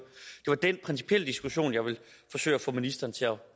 den principielle diskussion jeg ville forsøge at få ministeren til